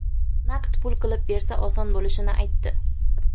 Naqd pul qilib bersa oson bo‘lishini aytdi.